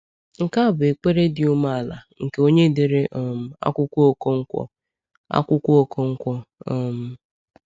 Nke a bụ ekpere dị umeala nke onye dere um akwụkwọ Okonkwo. akwụkwọ Okonkwo. um